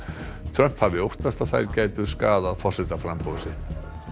Trump hafi óttast að þær gætu skaðað forsetaframboð sitt